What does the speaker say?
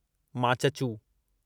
Machhu